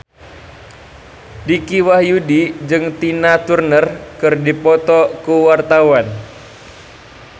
Dicky Wahyudi jeung Tina Turner keur dipoto ku wartawan